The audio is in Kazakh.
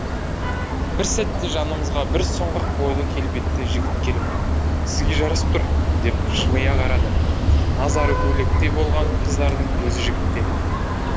бір сәтте жанымызға бір сұңғақ бойлы келбетті жігіт келіп сізге жарасып тұр деп жымия қарады назары көйлекте болған қыздардың көзі жігітте